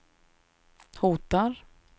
hotar